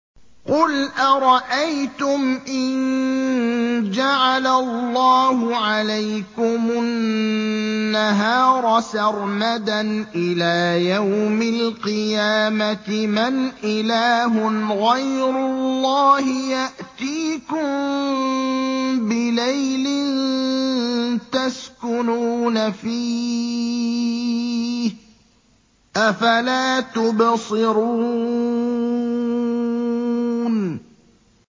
قُلْ أَرَأَيْتُمْ إِن جَعَلَ اللَّهُ عَلَيْكُمُ النَّهَارَ سَرْمَدًا إِلَىٰ يَوْمِ الْقِيَامَةِ مَنْ إِلَٰهٌ غَيْرُ اللَّهِ يَأْتِيكُم بِلَيْلٍ تَسْكُنُونَ فِيهِ ۖ أَفَلَا تُبْصِرُونَ